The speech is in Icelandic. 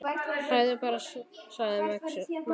Hlæðu bara, sagði Magnús.